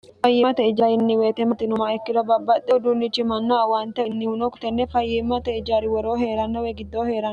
fayyiimmata ijaarinni weete matinoma ikkira babbaxxhe uduunnichi manna awaante innihuno kutenne fayyiimmata ijaari woroo hee'rannowe giddoo he'rn